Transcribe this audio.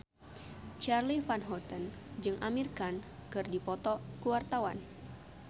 Charly Van Houten jeung Amir Khan keur dipoto ku wartawan